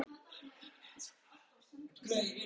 Það hlýtur að vera pabbi, sagði Emil.